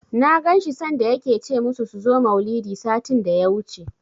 Na ganshi sanda yake ce musu su zo maulidi, satin daya wuce